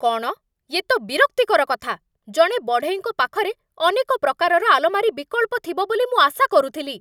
କ'ଣ? ୟେ ତ ବିରକ୍ତିକର କଥା! ଜଣେ ବଢ଼େଇଙ୍କ ପାଖରେ ଅନେକ ପ୍ରକାରର ଆଲମାରୀ ବିକଳ୍ପ ଥିବ ବୋଲି ମୁଁ ଆଶା କରୁଥିଲି।